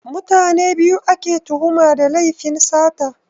Mutane biyu ake tuhuma da lefin sata